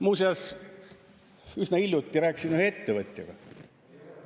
Muuseas, üsna hiljuti ma rääkisin ühe ettevõtjaga.